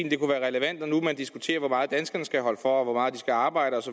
at det kunne være relevant når nu man diskuterer hvor meget danskerne skal holde for og hvor meget de skal arbejde